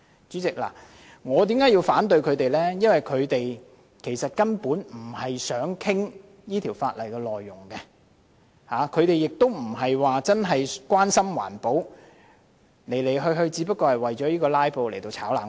主席，我反對這項議案，因為相關議員不是真正想討論《條例》內容，亦非真正關心環保，只是為了"拉布"而"炒冷飯"。